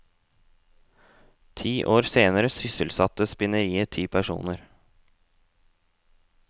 Ti år senere sysselsatte spinneriet ti personer.